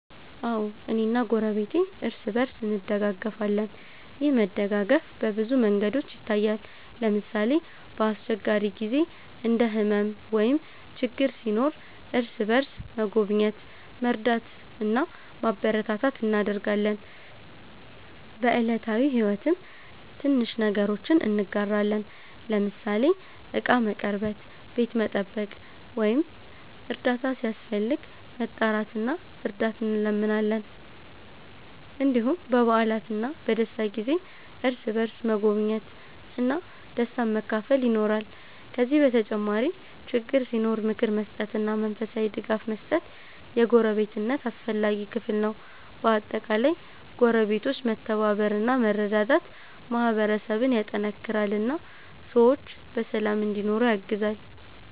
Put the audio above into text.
አዎ፣ እኔና ጎረቤቴ እርስ በእርስ እንደጋገፋለን። ይህ መደጋገፍ በብዙ መንገዶች ይታያል። ለምሳሌ፣ በአስቸጋሪ ጊዜ እንደ ሕመም ወይም ችግር ሲኖር እርስ በእርስ መጎብኘት፣ መርዳት እና ማበረታታት እናደርጋለን። በዕለታዊ ሕይወትም ትንሽ ነገሮችን እንጋራለን፤ ለምሳሌ ዕቃ መቀርበት፣ ቤት መጠበቅ ወይም እርዳታ ሲያስፈልግ መጣራት እና እርዳት እንለምናለን። እንዲሁም በበዓላትና በደስታ ጊዜ እርስ በእርስ መጎብኘት እና ደስታን መካፈል ይኖራል። ከዚህ በተጨማሪ ችግር ሲኖር ምክር መስጠትና መንፈሳዊ ድጋፍ መስጠት የጎረቤትነት አስፈላጊ ክፍል ነው። በአጠቃላይ ጎረቤቶች መተባበር እና መረዳዳት ማህበረሰብን ያጠናክራል እና ሰዎች በሰላም እንዲኖሩ ያግዛል።